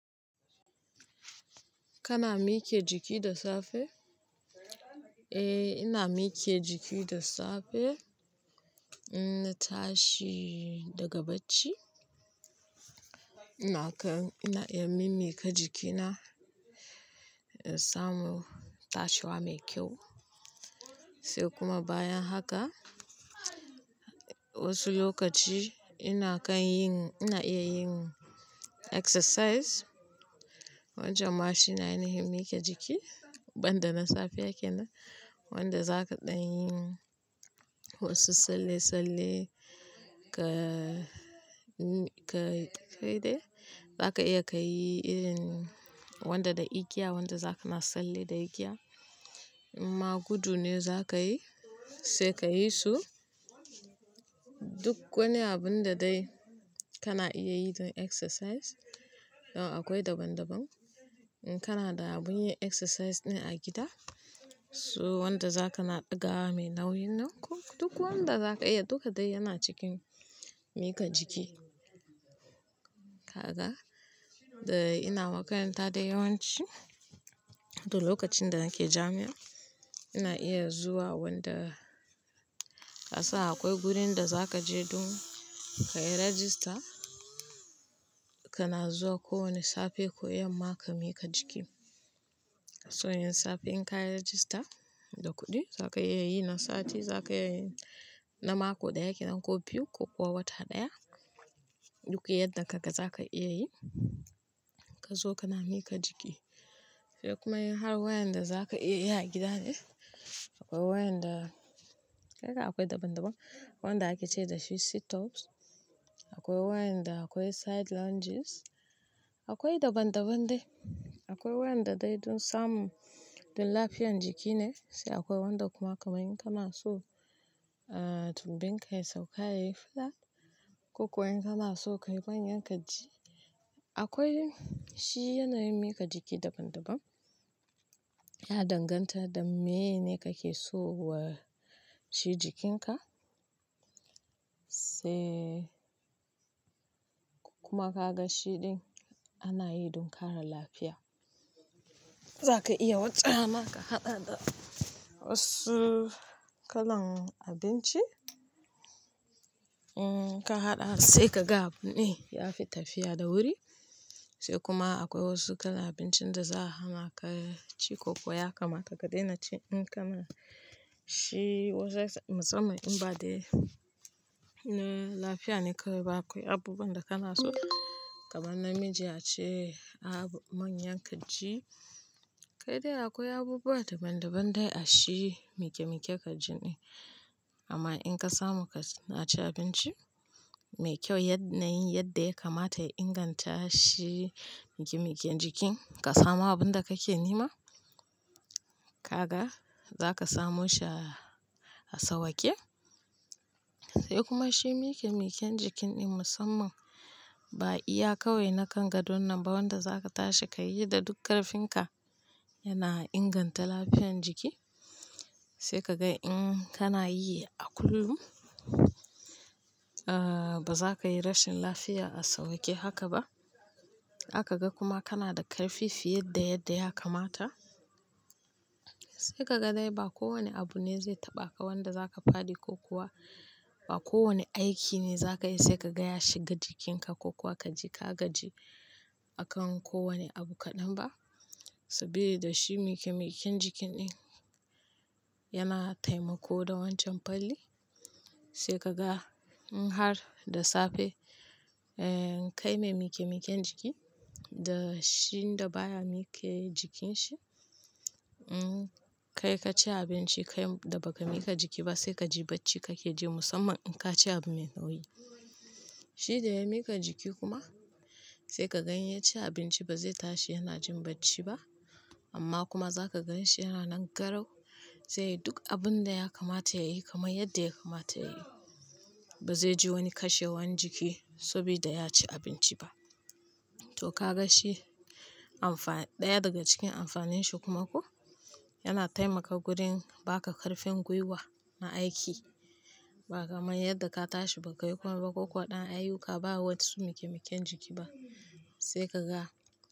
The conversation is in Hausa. Kana mike jiki da safe? Eh, ina mike jiki da safe, in na tashi daga bacci. Ina kan, ina iya mimmi ka jikina, in samu tashiwa mai kyau. Sai kuma bayan haka, wasu lokaci ina kan yin, ina iya yin exercise. Wancan ma shi ne ainahin mike jiki, ban da na safe yake nan. Wanda zaka ɗan yin wasu salle-tsalle ka-ka-kai dai. Zaka iya ka yi irin wanda da igiya, wanda za kana salle da igiya. In ma gudu ne za ka yi, sai ka yi su. Duk wani abun da dai kana iya yi don exercise. Akwai daban-daban. In Kana da abun yi exercise ne a gida, so wanda za kana ɗaga mai nauyin nan ko duk wanda za ka iya, duka dai yana cikin mika jiki. Kaga, da ina makaranta da yawanci, to lokacin da nake jami'a, ina iya zuwa wanda kasa akwai gurin da za ka je don ka yi register, kana zuwa kowane safe ko yamma ka mika ka jiki. So yin safen ka yi register da kuɗi, za ka iya yi na sati, za ka iya yi na mako ɗaya kenan ko biyu ko kuwa wata ɗaya. Duk yadda kaga za ka iya yi, ka zo kana mika ka jiki. Sai kuma har wayanda za ka iya yi a gida ne. Akwai wayanda, kai ka akwai daban-daban. Wanda ake ce da shi sit-ups, akwai wayanda akwai side lunges, akwai daban-daban dai. Akwai wayanda dai don samu don lafiyan jiki ne, sai akwai wanda kuma kamar in kana so, ah, tunbinka ka ya sauka ya yi fada, ko kuwa in kana so ka yi manyan kirji. Akwai shi yanayin mika jiki daban-daban. Ya danganta da mene kake so wa shi jikinka. Sai kuma ka ga shiɗin ana yi don kara lafiya. Zaka iya wace rana ka haɗa da wasu kalan abinci. Um, ka haɗa sai ka ga abun ɗin, ya fi tafiya da wuri. Sai kuma akwai wasu kalan abincin da za hana ka ci ko kuwa ya kamata ka daina ci in kana shi musamman in ba dai na lafiya ne kawai ba. Akwai abubuwan da kana so kaman na miji a ce abu manyan kirji. Kai dai akwai abubuwa daban-daban dai a shi mike-mike kirji ɗin. Amma in ka samu ka ci abinci mai kyau yadda yin yadda ya kamata ya inganta shi mike-miken jikin, ka samu abun da kake nema. Kaga, za ka samu shi a sauwake. Sai kuma shi mike-miken jikin ɗin musamman ba iya kawai na kan gadon nan ba wanda za ka tashi ka yi da duk karfinka, yana inganta lafiyan jiki. Sai ka ga in kana yi a kullum, ah, ba za ka yi rashin lafiya a sauwake haka ba. Aka ga kuma kana da karfi fiye yadda yadda ya kamata. Sai ka ga dai ba kowane abu ne zai taɓa ka wanda za ka faɗi ko kuwa ba kowane aiki ne za ka yi sai ka gaya shiga jikinka ko kuwa ka ji ka gaji a kan kowane abu kaɗan ba. Saboda shi mike-miken jikin ɗin yana taimako da wancan falli sai ka ga in har da safe, eh, ka yi mai mike-miken jikin da shiɗin da baya mike yi jikin shi, um, kai ka ci abinci kai da ba ka mika ka jiki ba sai ka ji bacci kake ji musamman in ka ci abu mai nauyi. Shi da ya mika jiki kuma, sai ka ga in ya ci abinci ba zai tashi yana jin bacci ba. Amma kuma za ka gan shi yana nan garau. Sai duk abun da ya kamata ya yi kamar yadda ya kamata ya yi. Ba zai ji wani kashewan jiki saboda ya ci abinci ba. To ka ga shi amfa, ɗaya daga cikin amfanin shi kuma ko, yana taimaka gurin baka karfin guiwa na aiki. Ba kaman yadda ka tashi ba ka yi komai ba ko kuwa ɗan ayyuka ba wa su mike-miken jiki ba. Sai ka ga.